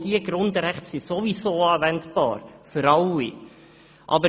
Diese Grundrechte sind ohnehin anwendbar – für alle.